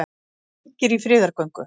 Margir í friðargöngu